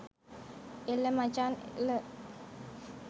එළ මචන් එළ